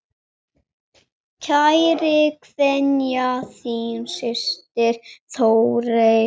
Kær kveðja, þín systir Þórey.